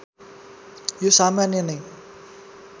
यो सामान्य नै